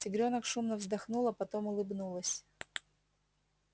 тигрёнок шумно вздохнула потом улыбнулась